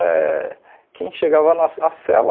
Eh quem chegava na a cela,